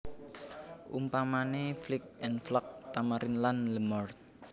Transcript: Umpamané Flic en Flac Tamarin lan Le Morne